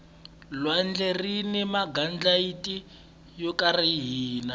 lwandle rini magandlati yo kariha